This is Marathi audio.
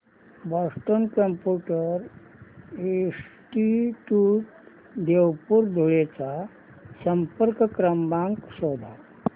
Boston computer institute Deopur Dhule चा संपर्क क्रमांक शोध